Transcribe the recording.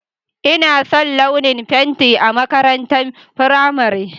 Ina son launin fentin a makarantar firamare.